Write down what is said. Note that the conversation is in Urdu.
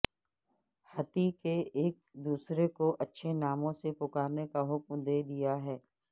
حتی کہ ایک دوسرے کو اچھے ناموں سے پکارنے کا حکم دیا گیا ہے